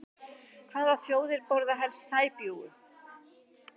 Hvaða þjóðir borða helst sæbjúgu?